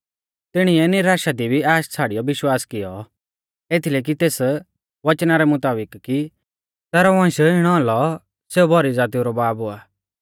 तिणीऐ निराशा दी भी आश छ़ाड़ियौ विश्वास किऔ एथीलै कि तेस वचना रै मुताबिक कि तैरौ वंश इणौ औलौ सेऊ भौरी ज़ातीऊ रौ बाब हुआ